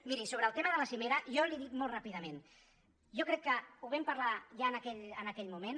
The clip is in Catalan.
miri sobre el tema de la cimera jo li ho dic molt ràpidament jo crec que ho vam parlar ja en aquell moment